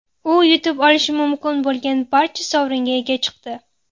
U yutib olishi mumkin bo‘lgan barcha sovringa ega chiqdi.